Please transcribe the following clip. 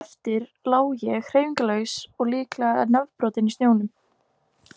Eftir lá ég, hreyfingarlaus og líklega nefbrotinn í snjónum.